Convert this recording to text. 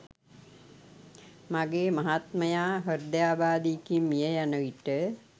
මගේ මහත්මයා හෘදයාබාධයකින් මිය යන විට